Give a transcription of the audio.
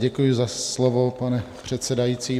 Děkuji za slovo, pane předsedající.